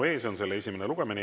See on selle esimene lugemine.